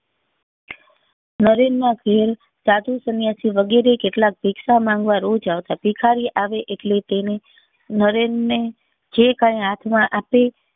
નરેન ના ઘેર સાધુ સન્યાસી વગરે કેટલાક ભિક્ષા માંગવા રોજ આવતા ભિખારી આવે એટલે તેને નરેન ને જે કઈ હાથ માં આપે